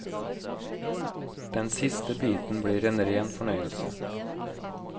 Den siste biten blir en ren fornøyelse.